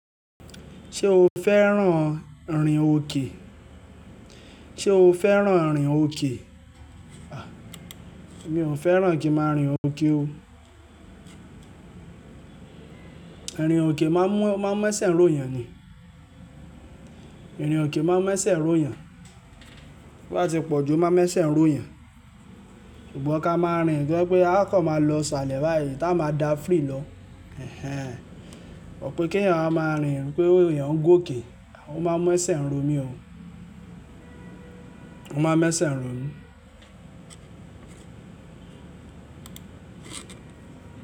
Ṣé o fẹ́ran rìn òkè? Sé o fẹ́ran rìn òkè? A! Mi ò fẹ́ran kín máa rìn òkè o. Rìn òkè máa ń mú, o máa ń mu ẹ̀ṣẹ̀ ń ro yàn ni. Rìn òkè máa ń mu ẹ̀ṣẹ̀ ro yàn. Bá ti pọ̀jù, o máa mẹ̀ṣẹ̀ ń ro yàn. Ṣùgbọ́n ká máa rìn tó jẹpé a kan máa lọ salẹ̀ báyìí tá a máa dá free lọ. Ẹ̀hẹn! Ó pé kí èèyàn máa rìn, pé èèyàn ń gòkè. Ó máa ń mu ẹ̀ṣẹ̀ ń ro mi o. Ó máa ń mu ẹ̀ṣẹ̀ ń ro mí.